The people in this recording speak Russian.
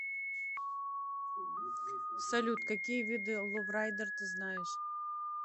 салют какие виды ловрайдер ты знаешь